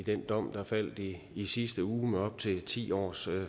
den dom der faldt i i sidste uge op til ti års